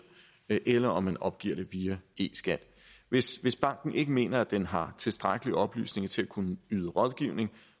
eller om man opgiver det via e skat hvis banken ikke mener at den har tilstrækkelige oplysninger til at kunne yde rådgivning